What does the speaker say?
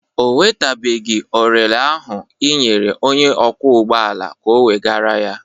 Ọ wetabeghị orele ahụ ị nyere onye ọkwọ ụgbọala ka o wegara ya.